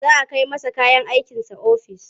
Za a kai masa kayan aikinsa ofis.